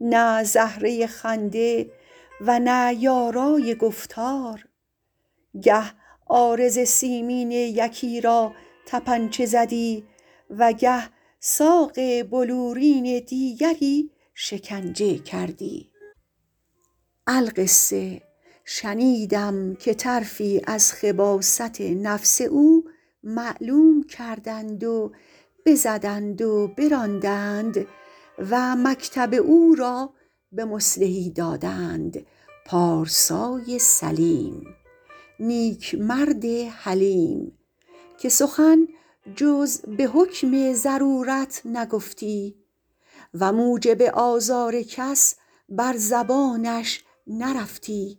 نه زهره خنده و نه یارای گفتار گه عارض سیمین یکی را طپنچه زدی و گه ساق بلورین دیگری شکنجه کردی القصه شنیدم که طرفی از خباثت نفس او معلوم کردند و بزدند و براندند و مکتب او را به مصلحی دادند پارسای سلیم نیک مرد حلیم که سخن جز به حکم ضرورت نگفتی و موجب آزار کس بر زبانش نرفتی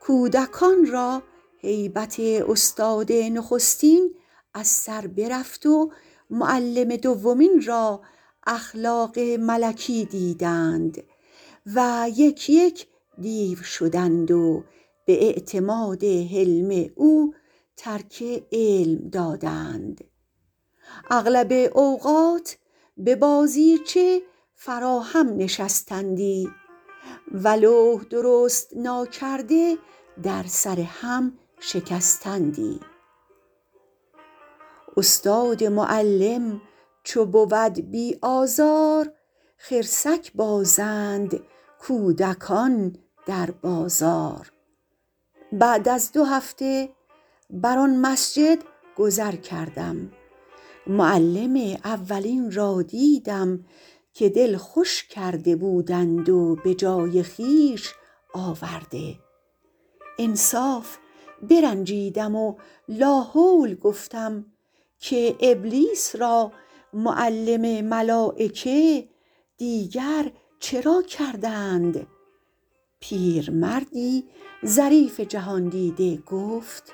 کودکان را هیبت استاد نخستین از سر برفت و معلم دومین را اخلاق ملکی دیدند و یک یک دیو شدند به اعتماد حلم او ترک علم دادند اغلب اوقات به بازیچه فرا هم نشستندی و لوح درست ناکرده در سر هم شکستندی استاد معلم چو بود بی آزار خرسک بازند کودکان در بازار بعد از دو هفته بر آن مسجد گذر کردم معلم اولین را دیدم که دل خوش کرده بودند و به جای خویش آورده انصاف برنجیدم و لاحول گفتم که ابلیس را معلم ملایکه دیگر چرا کردند پیرمردی ظریف جهاندیده گفت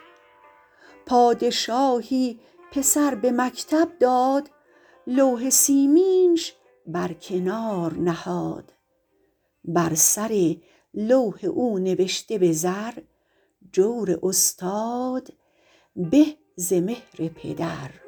پادشاهی پسر به مکتب داد لوح سیمینش بر کنار نهاد بر سر لوح او نبشته به زر جور استاد به ز مهر پدر